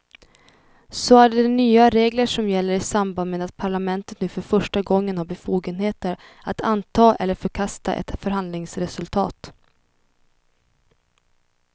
Så är de nya regler som gäller i samband med att parlamentet nu för första gången har befogenheter att anta eller förkasta ett förhandlingsresultat.